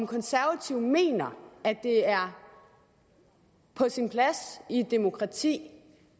konservative mener at det er på sin plads i et demokrati